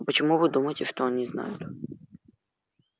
а почему вы думаете что они знают